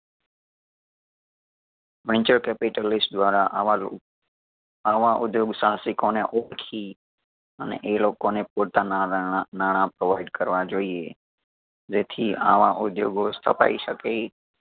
venture capitalist દ્વારા આવા ર ઉ આવા ઉધ્યોગ સાહસિકો ને ઓળખી અને એ લોકોને પોતાના રણ નાણાં provide કરવા જોઈએ. જેથી આવા ઉધ્યોગો સ્થપાઈ શકે.